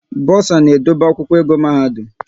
Bosa na-edobe akwụkwọ ego mahadum